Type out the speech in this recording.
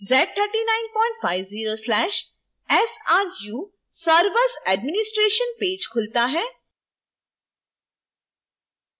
z3950/sru servers administration page खुलता है